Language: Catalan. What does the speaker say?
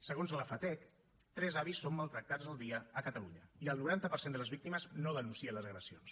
segons la fatec tres avis són maltractats al dia a catalunya i el noranta per cent de les víctimes no denuncia les agressions